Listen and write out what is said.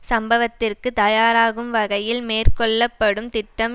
சம்பவத்திற்கு தயாராகும் வகையில் மேற்கொள்ள படும் திட்டம்